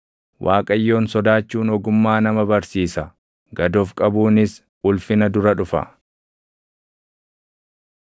Waaqayyoon sodaachuun ogummaa nama barsiisa; gad of qabuunis ulfina dura dhufa.